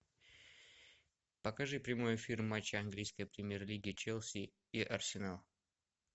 покажи прямой эфир матча английской премьер лиги челси и арсенал